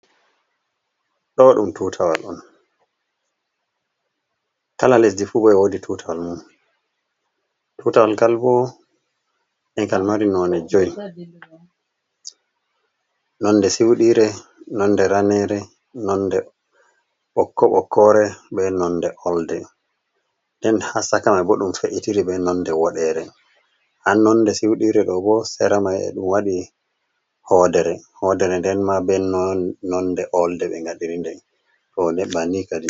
Ɗo ɗum tuutawal on, kala lesdi fuu boo be woodi tuutawal mum, tuutawal ngal bo ekal mari nonnde jowi 5, nonnde suuɗiire, nonnde raneere, nonnde ɓokko-ɓokkoore, be nonnde olde. Nden haa cakamay bo ɗum fe’itiri be nonde woɗeere, haa nonnde sudiire do bo, seramay e ɗum woodi hoodere, hoodere nden maa, be nonnde olde, ɓe ngaɗiri. nden toɓɓe.